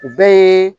U bɛɛ ye